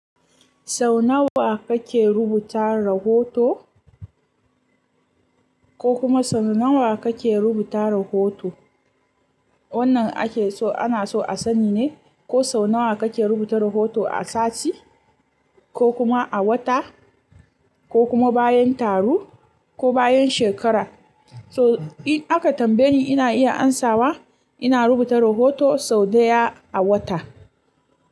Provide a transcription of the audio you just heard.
Sau nawa kake rubuta rahoto? Ko kuma sau nawa kake rubuta rahoto? Wannan ake so ana so a sani ne ko sau nawa kake rubuta rahoto a sati ko kuma a wata ko kuma bayan taro ko bayan shekara. So in aka tambaye ni ina iya amsawa ina rubuta rahoto sau ɗaya a wata.